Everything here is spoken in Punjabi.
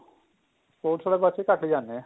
sports ਵਾਲੇ ਪਾਸੇ ਘੱਟ ਜਾਂਦੇ ਏ